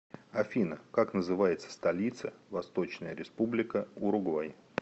афина как называется столица восточная республика уругвай